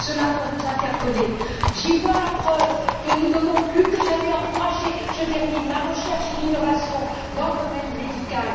Cela doit nous interpeller. J'y vois la preuve que nous devons plus que jamais encourager la recherche et l'innovation dans le domaine médical.